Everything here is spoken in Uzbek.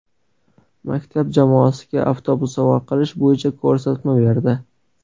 Maktab jamoasiga avtobus sovg‘a qilish bo‘yicha ko‘rsatma berdi.